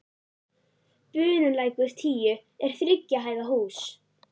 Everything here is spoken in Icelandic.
Bunulækur tíu er þriggja hæða hús.